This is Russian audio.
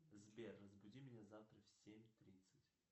сбер разбуди меня завтра в семь тридцать